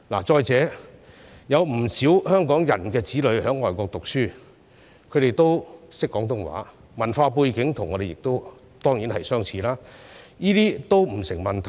再者，有不少香港人子女在外國讀書，他們也懂廣東話，文化背景跟我們當然相似，這些也不成問題。